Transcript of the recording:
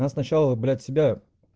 надо сначала брать себя